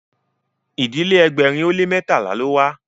ìdílé ẹgbẹrin o le mẹtala ló wà